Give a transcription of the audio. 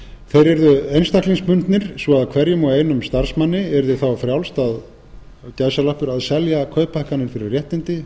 þeir yrðu einstaklingsbundnir svo að hverjum og einum starfsmanni yrði þá frjálst að selja kauphækkanir fyrir réttindi